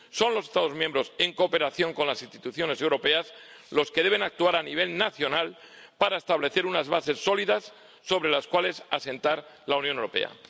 Son los Estados miembros, en cooperación con las instituciones europeas, los que deben actuar a nivel nacional para establecer unas bases sólidas sobre las cuales asentar la Unión Europea.